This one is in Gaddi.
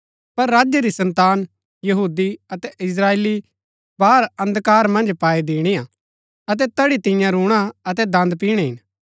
पर राज्य री सन्तान यहूदी अतै इस्त्राएली बाहर अन्धकार मन्ज पाई दिणिआ अतै तैड़ी तियां रूणा अतै दन्द पिणै हिन